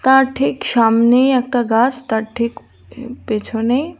তার ঠিক সামনেই একটা গাস তার ঠিক পেছনেই।